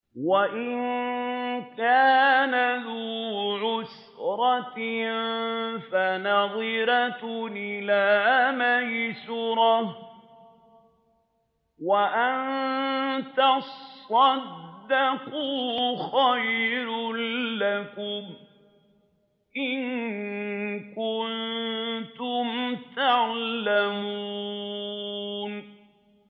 وَإِن كَانَ ذُو عُسْرَةٍ فَنَظِرَةٌ إِلَىٰ مَيْسَرَةٍ ۚ وَأَن تَصَدَّقُوا خَيْرٌ لَّكُمْ ۖ إِن كُنتُمْ تَعْلَمُونَ